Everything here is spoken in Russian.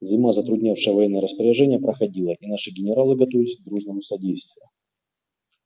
зима затруднявшая военные распоряжения проходила и наши генералы готовились к дружному содействию